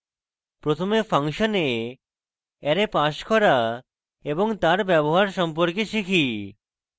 প্রথমে ফাংশনে array pass করা এবং তার ব্যবহার সম্পর্কে শিখি